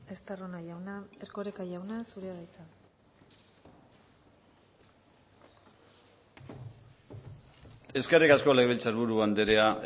estarrona jauna erkoreka jauna zurea da hitza eskerrik asko legebiltzarburu andrea